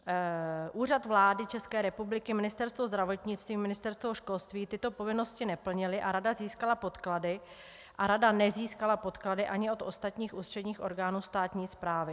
Úřad vlády České republiky, Ministerstvo zdravotnictví, Ministerstvo školství tyto povinnosti neplnily a rada nezískala podklady ani od ostatních ústředních orgánů státní správy.